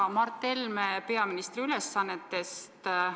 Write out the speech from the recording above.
Hea Mart Helme peaministri ülesannetes!